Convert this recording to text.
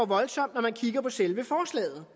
voldsomt når man kigger på selve forslaget